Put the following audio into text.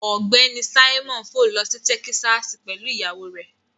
Ọgbẹni Simon fò lọ si Tẹkisasi pẹlu iyawo rẹ